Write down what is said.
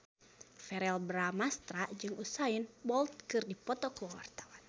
Verrell Bramastra jeung Usain Bolt keur dipoto ku wartawan